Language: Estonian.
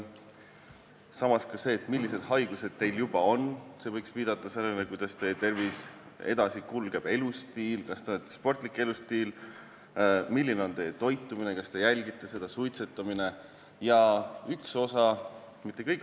Samas võiks see, millised haigused teil juba on, viidata sellele, kuidas teie tervis edasi kulgeb, kas teil on sportlik elustiil, milline on teie toitumine, kas te jälgite seda, kas ta suitsetate jne.